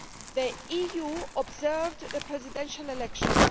The EU observed the presidential elections.